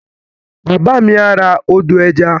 Bàbá mi á ra ọdọ̀-ẹja